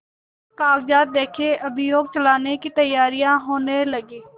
कागजात देखें अभियोग चलाने की तैयारियॉँ होने लगीं